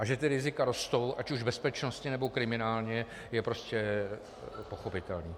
A že ta rizika rostou ať už bezpečnostně, nebo kriminálně, je prostě pochopitelné.